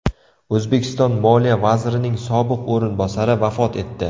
O‘zbekiston moliya vazirining sobiq o‘rinbosari vafot etdi.